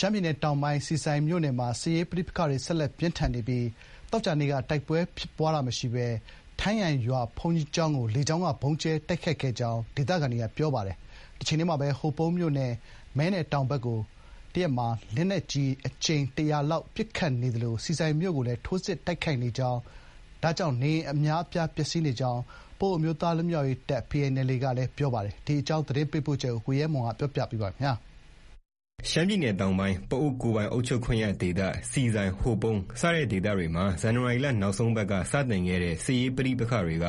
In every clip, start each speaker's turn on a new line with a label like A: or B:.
A: ရှမ်းပြည်နယ်တောင်ပိုင်း ဆီဆိုင်မြို့နယ်မှာ စစ်ရေးပဋိပက္ခတွေ ဆက်လက်ပြင်းထန်နေပြီး သောကြာနေ့က တိုက်ပွဲဖြစ်ပွားတာမရှိပဲ ထမ်းယံရွာ ဘုန်းကြီးကျောင်းကို လေကြောင်းက ဗုံးကြဲတိုက်ခိုက်ခဲ့ကြောင်း ဒေသခံတွေက ပြောပါတယ်။ တချိန်တည်းမှာပဲ ဟိုပုံးမြို့နယ် မဲနယ်တောင်ဘက်ကို တရက်ကို လက်နက်ကြီးနဲ့ အကြိမ် ၁၀၀ ကျော်လောက် ပစ်ခတ်နေသလို ဆီဆိုင်မြို့ကိုလည်း ထိုးစစ်ဆင် တိုက်ခိုက်နေတာကြောင့် နေအိမ် အများအပြား ပျက်ဆီးနေကြောင်း ပအိုဝ်းအမျိုးသားလွတ်မြောက်ရေးတပ် PNLA က ပြောဆိုထားပါတယ်။ ရှမ်းပြည်နယ်တောင်ပိုင်း ပအိုဝ်းဒေသက အခြေအနေ သတင်းပေးပို့ချက်ကို ကိုရဲမွန်က တင်ပြထားပါတယ်
B: ။ ရှမ်းပြည်နယ်တောင်ပိုင်း ပအိုဝ်း ကိုယ်ပိုင်အုပ်ချုပ်ခွင့်ရဒေသ ဆီဆိုင်၊ ဟိုပုံး စတဲ့ဒေသတွေမှာ ဇန်နဝါရီလ နောက်ဆုံးပတ်က စတင်ခဲ့တဲ့ စစ်ရေးပဋိပက္ခတွေက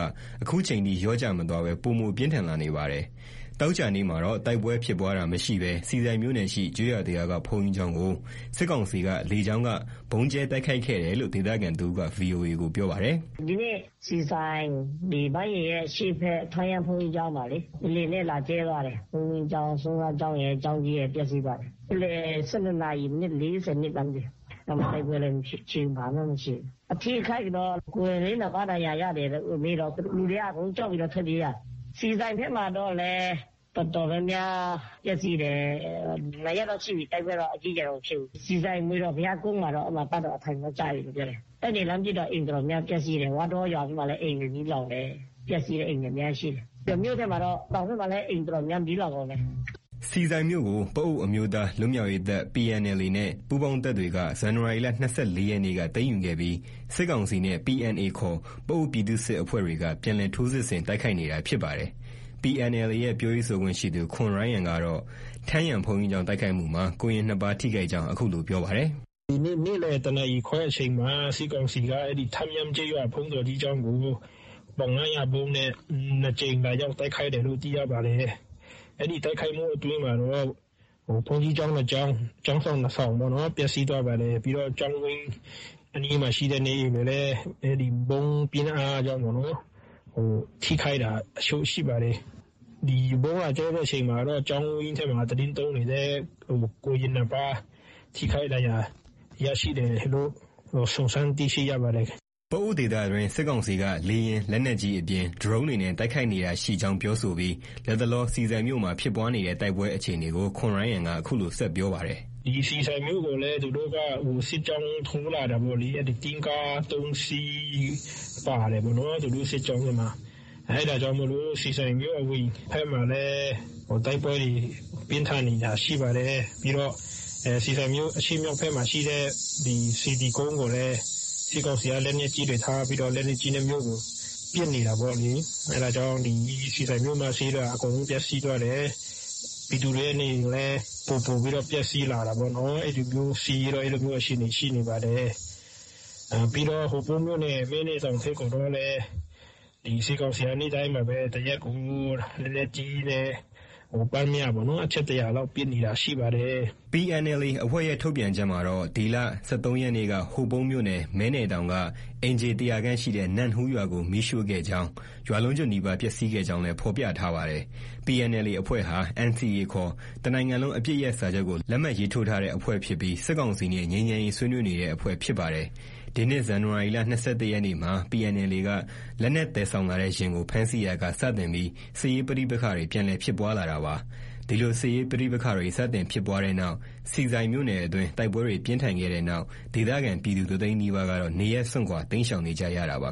B: ဒီနေ့အထိ လျော့ကျမသွားပဲ ပိုမို ပြင်းထန်လာနေပါတယ်။ ဒီကနေ့မှာတော့ တိုက်ပွဲဖြစ်ပွားတာမရှိဘဲ ဆီဆိုင်မြို့နယ်ရှိ ကျေးရွာတရွာက ဘုန်းကြီးကျောင်းကို စစ်ကောင်စီက လေကြောင်းက ဗုံးကြဲတိုက်ခိုက်ခဲ့တယ်လို့ ဒေသခံတဦးက VOA ကို ပြောပါတယ်
C: ။ “ ဒီနေ့ ဆီဆိုင၊် ဘန်းယဉ်ရဲ့ အရှေ့ဘက် ထမ်းယံ ဘုန်းကြီးကျောင်းမှာလေ။ လေယာဉ်နဲ့ လာကြဲသွားတယ်။ ဘုန်းကြီးကျောင်း ဆွမ်းစားကျောင်းရယ်၊ ကျောင်းကြီးရယ် ပျက်ဆီးသွားတယ်။ နေ့လည် ၁၂ နာရီ ၄၂ လားမသိဘူး။ အဲဒီမှာ တိုက်ပွဲလည်း မရှိဘူး။ ဘာမှ မရှိဘူး။ အထိအခိုက်တော့ ကိုရင်လေး ၂ ပါး ဒဏ်ရာရတယ်လို့မေးတော့ လူတွေက အကုန်လုံးကြောက်ပြီးတော့ ထွက်ပြေးတာ။ ဆီဆိုင်ဘက်မှာတော့လည်း တော်တော်များများ ပျက်ဆီးတယ်။ ၂ ရက်လောက်ရှိပြီ။ တိုက်ပွဲတော့ အကြီးအကျယ်တော့ မဖြစ်ဘူး။ ဆီဆိုင် မွေတော်ဘုရားကုန်းမှာတော့ အဲဒီမှာ တပ်တော့ အထိုင်တော့ ကျပြီလို့ ပြောတယ်။ အဲဒီက လှမ်းပစ်တော့ အိမ်တွေ အတော်များများ ပျက်ဆီးတယ်။ ဝါးတောရွာဘက်မှာလည်း အိမ်တွေ အတော်များများ မီးလောင်တယ်။ ပျက်ဆီးတဲ့အိမ်တွေ အများကြီးရှိတယ်။ မြို့ထဲမှာတော့ တောင်ဘက်မှာတော့ အိမ်တွေ အတော်များများ မီးလောင်ကုန်တယ်။ ”
B: ဆီဆိုင်မြို့ကို ပအိုဝ်းအမျိုးသားလွတ်မြောက်ရေးတပ် PNLA နဲ့ ပူးပေါင်းတပ်တွေက ဇန်နဝါရီလ ၂၄ ရက်နေ့က သိမ်းယူခဲ့ပြီး စစ်ကောင်စီနဲ့ PNA ခေါ် ပအိုဝ်းပြည်သူ့စစ်အဖွဲ့တွေက ပြန်လည် ထိုးစစ်ဆင် တိုက်ခိုက်နေတာဖြစ်ပါတယ်။ PNLA ရဲ့ ပြောရေးဆိုခွင့်ရှိသူ ခွန်ရိုင်းယံကတော့ ထမ်းယံဘုန်းကြီးကျောင်း တိုက်ခိုက်မှုမှာ ကိုရင် ၂ ပါး ထိခိုက်ကြောင်း အခုလို ပြောပါတယ်။
D: “ ဒီနေ့ နေ့လည် ၁နာရီခွဲအချိန်မှာ စစ်ကောင်စီက ထမ်းယံကျေးရွာ ဘုန်းတော်ကြီးကျောင်းကို ပေါင် ၅၀၀ ဗုံးနဲ့ ၂ ကြိမ် လာရောက် တိုက်ခိုက်တယ်လို့ သိရပါတယ်။ အဲဒီတိုက်ခိုက်မှု အတွင်းမှာတော့ ဘုန်းကြီးကျောင်း ၂ ကျောင်း ကျောင်းဆောင် ၂ ဆောင်ပေါ့ ပျက်စီးသွားပါတယ်။ ပြီးတော့ ကျောင်းဝင်းအတွင်း အနီးမှာရှိတဲ့ နေအိမ်တွေလည်း အဲဒီ ဗုံးပြင်းအားကြောင့်ပေါ့နော်။ ထိခိုက်တာ အချို့ ရှိပါတယ်။ ဒီ ဗုံးကျရောက်တဲ့ အချိန်မှာတော့ ကျောင်းဝင်းအတွင်းမှာ သီတင်းသုံးနေတဲ့ ကိုရင် ၂ ပါး ထိခိုက်ဒဏ်ရာ ရရှိတယ်လို့ စုံစမ်းသိရှိရပါတယ်။ ”
B: ပအိုဝ်းဒေသအတွင်း စစ်ကောင်စီက လေယာဉ်၊ လက်နက်ကြီးအပြင် ဒရုန်းတွေနဲ့ တိုက်ခိုက်နေတာရှိကြောင်း ပြောဆိုပြီး လတ်တလော ဆီဆိုင်မြို့မှာ ဖြစ်ပွားနေတဲ့ တိုက်ပွဲအခြေအနေကို ခွန်ရိုင်းယံက အခုလို ဆက်ပြောပါတယ်
D: ။ “ ဆီဆိုင်မြို့ကိုလည်း သူတို့က စစ်ကြောင်း ထိုးလာတာပေါ့လေ။ တင့်ကား ၃ စီး ပါတယ်ပေါ့နော်။ သူတို့ စစ်ကြောင်းထဲမှာ။ အဲဒါကြောင့် ဆီဆိုင်မြို့ အဝင်ဘက်မှာလည်း တိုက်ပွဲတွေ ပြင်းထန်နေတာ ရှိပါတယ်။ ပြီးတော့ ဆီဆိုင်မြို့ အရှေ့မြောက်ဘက်မှာရှိတဲ့ စေတီကုန်းမှာလည်း စစ်ကောင်စီက လက်နက်ကြီးတွေ ထားပြီးတော့ လက်နက်ကြီးနဲ့ မြို့ကို ပစ်နေတာပေါ့လေ။ အဲဒါကြောင့် ဆီဆိုင်မြို့မဈေးက အကုန်လုံး ပျက်စီးသွားတယ်။ ပြည်သူတွေရဲ့နေအိမ်လည်း ပိုပိုပြီးတော့ ပျက်ဆီးလာတာပေါ့။ စစ်ရေးတော့ အဲလိုမျိုးအခြေအနေ ရှိနေပါတယ်။ ပြီးတော့ ဟိုပုံးမြို့နယ် မဲနယ်တောင်ဘက်ကိုတော့လည်း စစ်ကောင်စီက နေ့တိုင်းပါပဲ တရက်ကို လက်နက်ကြီးနဲ့ ပျှမ်းမျှ အချက် ၁၀၀ လောက် ပစ်နေတာ ရှိနေပါတယ်။ ” PNLA
B: အဖွ့ဲရဲ့ ထုတ်ပြန်ချက်မှာတော့ ဒီလ ၁၃ ရက်နေ့က ဟိုပုံးမြို့နယ် မဲနယ်တောင်က အိမ်ခြေ ၁၀၀ ခန့်ရှိတဲ့ နမ့်ဟူးရွာကို မီးရှို့ခဲ့ကြောင်း ၊ ရွာလုံးကျွတ်နီးပါး ပျက်ဆီးခဲ့ကြောင်းလည်း ဖော်ပြထားပါတယ်။ PNLA အဖွဲ့ဟာ NCA ခေါ် တနိုင်ငံလုံး အပစ်ရပ်စာချုပ်ကို လက်မှတ် ရေးထိုးထားတဲ့ အဖွဲ့ဖြစ်ပြီး စစ်ကောင်စီနဲ့ ငြိမ်းချမ်းရေးဆွေးနွေးနေတဲ့ အဖွဲ့ဖြစ်ပါတယ်။ ဒီနှစ် ဇန်နဝါရီ ၂၁ ရက်နေ့မှာ PNLA က လက်နက် သယ်ဆောင်လာတဲ့ယာဉ်ကို ဖမ်းဆီးရာက စတင်ပြီး စစ်ရေးပဋိပက္ခတွေ ပြန်လည်ဖြစ်ပွားလာတာပါ။ ဒီလို စစ်ရေးပဋိပက္ခတွေ စတင်ဖြစ်ပွားတဲ့နောက် ဆီဆိုင်မြို့နယ်အတွင်း တိုက်ပွဲတွေ ပြင်းထန်ခဲ့တဲ့နောက် ဒေသခံပြည်သူ တသိန်းနီးပါးကတော့ နေရပ်စွန့်ခွာ တိမ်းရှောင်နေကြရပါ